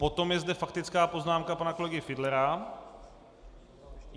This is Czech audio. Potom je zde faktická poznámka pana kolegy Fiedlera.